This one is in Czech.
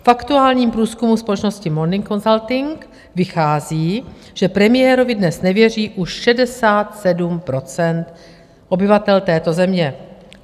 V aktuálním průzkumu společnosti Morning Consult vychází, že premiérovi dnes nevěří už 67 % obyvatel této země.